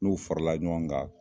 N'u farala ɲɔgɔn kan